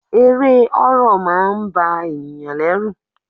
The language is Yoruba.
Eré horror máà ń ba ènìyàn lẹ́rù.